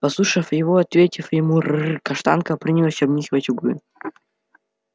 послушав его и ответив ему рррр каштанка принялась обнюхивать углы